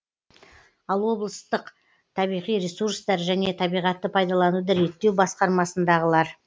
ал облыстық табиғи ресурстар және табиғатты пайдалануды реттеу басқармасындағылар